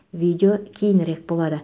видео кейінірек болады